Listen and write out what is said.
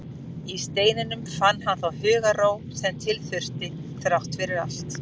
Í steininum fann hann þá hugarró sem til þurfti, þrátt fyrir allt.